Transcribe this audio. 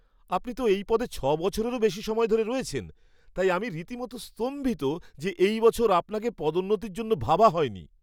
আপনি তো এই পদে ছ' বছরেরও বেশি সময় ধরে রয়েছেন, তাই আমি রীতিমতো স্তম্ভিত যে এই বছর আপনাকে পদোন্নতির জন্য ভাবা হয়নি।